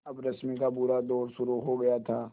अब रश्मि का बुरा दौर शुरू हो गया था